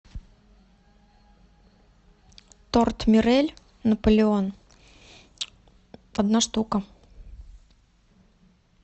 торт мирель наполеон одна штука